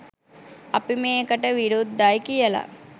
අපි මේකට විරුද්ධයි කියල